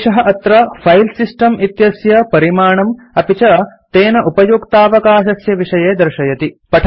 एषः अत्र फाइल्सिस्टम् इत्यस्य परिमाणम् अपि च तेन उपयुक्तावकाशस्य विषये दर्शयति